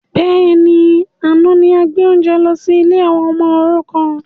Bẹ́ẹ̀ni, àná ni a gbé oúnjẹ lọ sí ilé àwọn ọmọ òrukàn